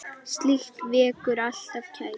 Slíkt vekur alltaf kæti.